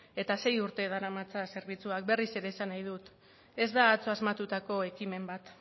eta sei urte daramatza zerbitzuak berriz ere esan nahi dut ez da atzo asmatutako ekimen bat